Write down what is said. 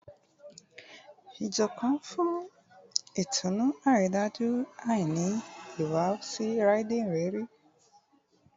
Ijoko nfun itunu, aridaju a ni ihuwasi Riding iriri